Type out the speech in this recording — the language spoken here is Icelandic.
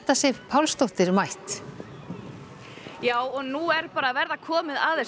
Sif Pálsdóttir já og nú er bara að verða komið að þessu